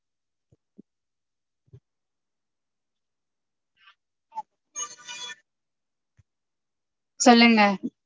சொல்லுங்க?